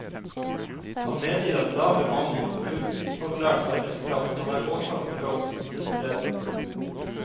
Han medgir at lav bemanning og ufaglært arbeidskraft kan være årsak til økt smittespredning.